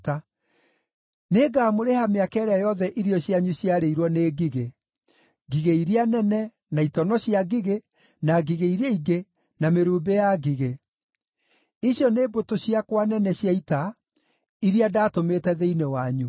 “Nĩngamũrĩha mĩaka ĩrĩa yothe irio cianyu ciarĩirwo nĩ ngigĩ: ngigĩ iria nene, na itono cia ngigĩ, na ngigĩ iria ingĩ, na mĩrumbĩ ya ngigĩ; icio nĩ mbũtũ ciakwa nene cia ita iria ndaatũmĩte thĩinĩ wanyu.